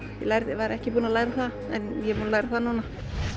ég var ekki búin að læra það en ég er búin að læra það núna